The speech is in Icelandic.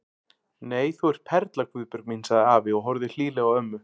Nei, þú ert perla Guðbjörg mín sagði afi og horfði hlýlega á ömmu.